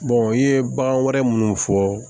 i ye bagan wɛrɛ minnu fɔ